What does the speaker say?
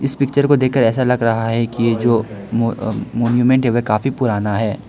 इस पिक्चर को देखकर ऐसा लग रहा है कि ये जो मो अह मॉन्यूमेंट है काफी पुराना है।